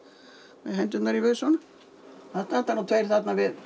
með hendurnar í vösunum það standa nú tveir þarna við